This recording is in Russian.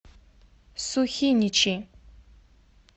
сухиничи